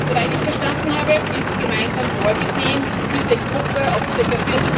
Soweit ich verstanden habe, ist gemeinsam vorgesehen, diese Gruppe auf ca.